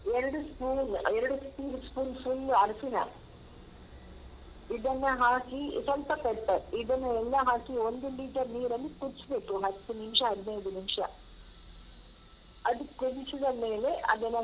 ಎರಡು spoon ಎರಡು t spoon full ಅರಿಶಿಣ ಇದನ್ನ ಹಾಕಿ ಸ್ವಲ್ಪ pepper ಇದನ್ನು ಎಲ್ಲಾ ಹಾಕಿ ಒಂದು liter ನೀರಲ್ಲಿ ಕುದಿಸ್ಬೇಕು ಹತ್ತು ನಿಮ್ಷ ಹದ್ನೈದು ನಿಮ್ಷ ಅದು ಕುದಿಸಿದ ಮೇಲೆ ಅದನ್ನ.